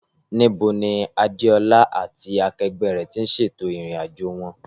Níbo ni Adéọlá lá àti akẹgbẹ́ rẹ̀ ti ṣètò ìrìn-àjò wọn?